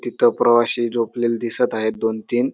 तिथ प्रवाशी झोपलेले दिसत आहेत दोन तीन--